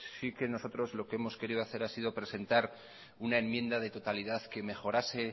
sí que nosotros lo que hemos querido hacer ha sido presentar una enmienda de totalidad